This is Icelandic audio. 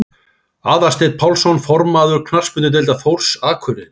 Aðalsteinn Pálsson formaður Knattspyrnudeildar Þórs Akureyri